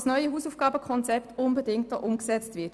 Das neue Hausaufgaben-Konzept muss unbedingt umgesetzt werden.